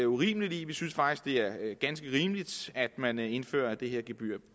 urimeligt i vi synes faktisk det er ganske rimeligt at man indfører det her gebyr